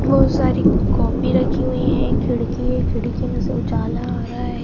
बहुत सारी कॉपी रखी हुई हैं एक खिड़की है खिड़की में से उजाला आ रहा है।